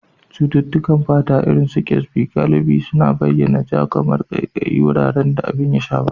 Cututtukan fata, irin su Kyasbi, galibi suna bayyana kamar ja, ƙaiƙayi, a wuraren da abin ya shafa.